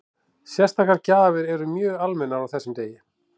Sérstakar gjafir eru mjög almennar á þessum degi.